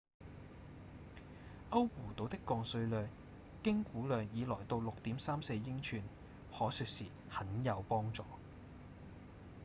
歐胡島的降水量經估量已來到 6.34 英寸可說是「很有幫助」